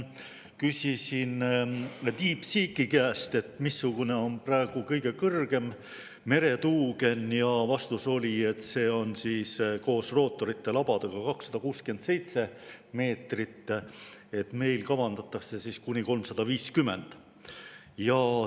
Küsisin DeepSeeki käest, missugune on praegu kõige kõrgem meretuugen, ja vastus oli, et see on koos rootorite labadega 267 meetrit, aga meil kavandatakse kuni 350 meetrit.